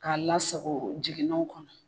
K'a lasago jiginaw kɔnɔ.